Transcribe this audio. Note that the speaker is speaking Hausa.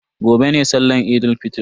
Gobe ne sallan Eid fitr.